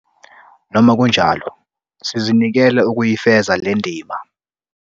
Noma kunjalo sizinikele ukuyifeza le ndima.